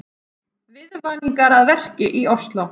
Viðvaningar að verki í Ósló